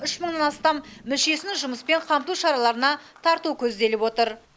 үш мыңнан астам мүшесін жұмыспен қамту шараларына тарту көзделіп отыр